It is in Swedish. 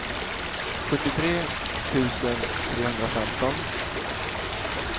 sjuttiotre tusen trehundrafemton